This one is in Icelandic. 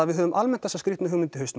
við höfum almennt þá hugmynd